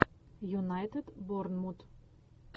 юнайтед борнмут